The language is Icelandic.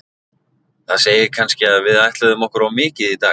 Það segir kannski að við ætluðum okkur of mikið í dag.